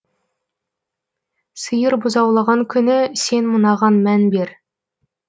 сиыр бұзаулаған күні сен мынаған мән бер